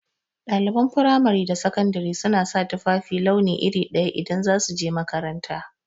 Ɗaliban fimari da sakandari suna sa tufafi launi iri daya idan za su je makaranta